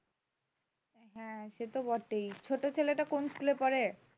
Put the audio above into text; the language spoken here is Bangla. হ্যাঁ সে তো বটেই ছোট ছেলেটা কোন স্কুলে পড়ে